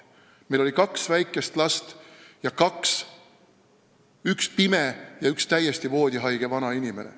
Meil oli kaks väikest last ja kaks hooldatavat: üks pime ja üks täiesti voodihaige vanainimene.